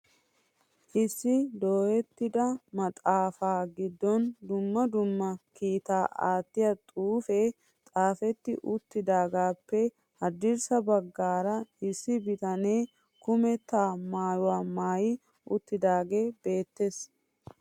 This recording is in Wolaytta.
Issi dooyetida maxaafa giddon dumma dumma kiita aattiya xuufe xaafeti uttidaagetuppe haddirssa baggaara issi bitanee kumeta maayuwa maayi uttidaage beettees.